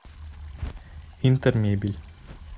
интермебель